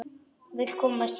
Vill komast héðan.